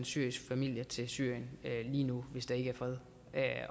syrisk familie til syrien lige nu hvis der ikke er fred